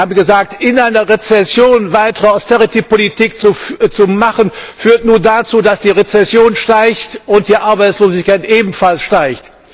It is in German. Sie haben gesagt In einer Rezession weitere Austeritätspolitik zu machen, führt nur dazu, dass die Rezession steigt und die Arbeitslosigkeit ebenfalls steigt.